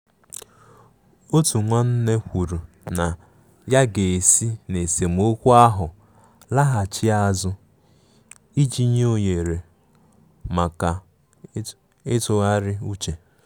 Otu nwanne kwuru na ya ga-esi n' esemokwu ahụ laghachi azụ iji nye ohere maka ịtụgharị uche.